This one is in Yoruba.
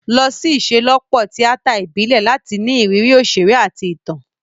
Lọ sí ìṣelọ́pọ̀ tíátà ìbílẹ̀ láti ní ìrírí òṣèré àti ìtàn.